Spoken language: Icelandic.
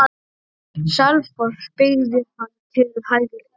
Selfoss beygði hann til hægri.